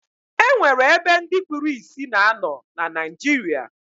E nwere ebe ndị kpuru isi na-anọ na Naịjirịa